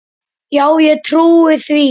Já ég trúi því.